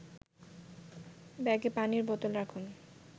ব্যাগে পানির বোতল রাখুন